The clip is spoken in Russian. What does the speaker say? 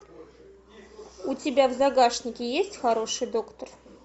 у тебя в загашнике есть хороший доктор